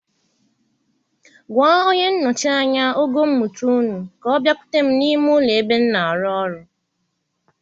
Gwa onye nnọchi anya ogo mmụta ùnú ka ọ biakwute m n'ime ụlọ ebe m na-arụ ọrụ.